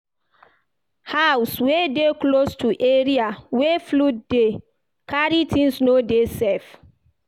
House wey de close to area wey flood dey carry things no dey safe